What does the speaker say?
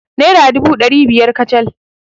Naira dubu ɗari biyar kacal.